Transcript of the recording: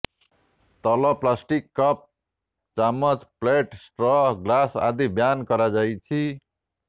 ତଲ plastic cup ଚାମଚ plate straw glass ଆଦି ban କରାଯାଇଛି